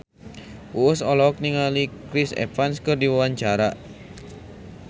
Uus olohok ningali Chris Evans keur diwawancara